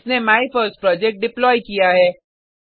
इसने my first project deploy किया है